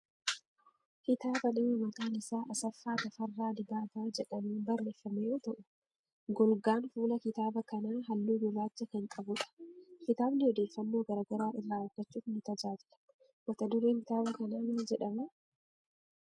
Kitaaba nama maqaan isaa Asaffaa Tafarraa Dibaabaa jedhamuun barreeffame yoo ta'u golgaan fuula kitaaba kanaa haalluu gurraacha kan qabu dha. Kitaabni odeeffannoo garaagaraa irraa argachuuf ni tajaajila. Mata-dureen kitaaba kanaa maal jedhamaa ?